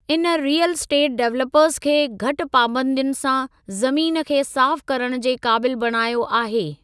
इन real estate developers खे घटि पाबंदियुनि सां ज़मीन खे साफ़ करण जे क़ाबिल बणायो आहे।